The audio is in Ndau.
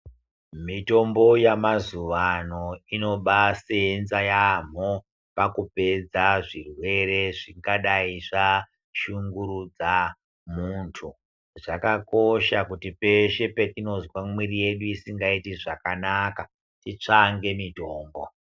Mitombo yamazuwa ano inobasenza yamho pakupedza zvirwere zvingadai zvashungurudza muntu, zvakosha kuti peshe patinozwa mwiri yedu isingaiiti zvakanaka titsvange mitombo.